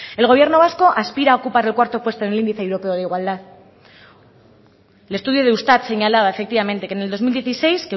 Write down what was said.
el gobierno vasco aspira a ocupar el cuarto puesto en el índice europeo de igualdad el estudio de eustat señalaba efectivamente que en el dos mil dieciséis